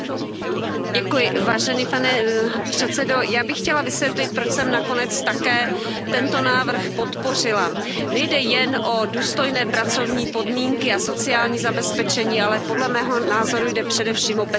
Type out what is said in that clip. Pane předsedající, já bych chtěla vysvětlit, proč jsem nakonec také tento návrh podpořila. Nejde jen o důstojné pracovní podmínky a sociální zabezpečení, ale podle mého názoru jde především o bezpečnost dopravy.